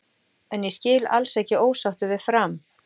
En ég skil alls ekki ósáttur við Fram.